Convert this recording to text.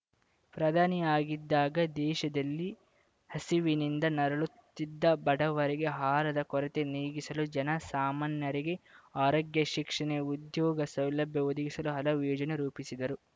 ಪ್ರಧಾನಿಯಾಗಿದ್ದಾಗ ದೇಶದಲ್ಲಿ ಹಸಿವಿನಿಂದ ನರಳುತ್ತಿದ್ದ ಬಡವರಿಗೆ ಆಹಾರದ ಕೊರತೆ ನೀಗಿಸಲು ಜನಸಾಮಾನ್ಯರಿಗೆ ಆರೋಗ್ಯ ಶಿಕ್ಷಣ ಉದ್ಯೋಗ ಸೌಲಭ್ಯ ಒದಗಿಸಲು ಹಲವು ಯೋಜನೆ ರೂಪಿಸಿದರು